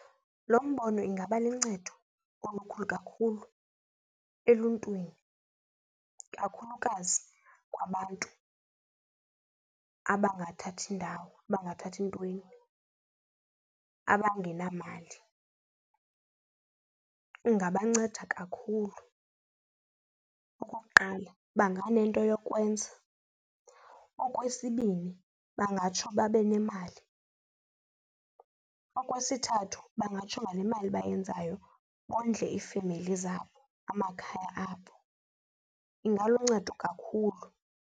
Lo mbono ingaba luncedo olukhulu kakhulu eluntwini kakhulukazi kwabantu abangathathi ndawo abangathathi ntweni abangenamali, ingabanceda kakhulu. Okuqala banganento yokwenza. Okwesibini bangatsho babe nemali. Okwesithathu bangatsho ngale mali bayenzayo bondle iifemeli zabo, amakhaya abo. Ingaluncedo kakhulu.